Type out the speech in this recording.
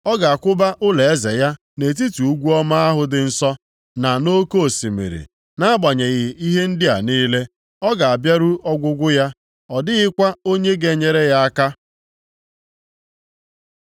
Ọ ga-akwụba ụlọeze ya nʼetiti ugwu ọma ahụ dị nsọ na nʼoke osimiri, nʼagbanyeghị ihe ndị a niile, ọ ga-abịaru ọgwụgwụ ya, ọ dịghịkwa onye ga-enyere ya aka.